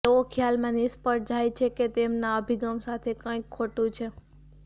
તેઓ ખ્યાલમાં નિષ્ફળ જાય છે કે તેમના અભિગમ સાથે કંઈક ખોટું છે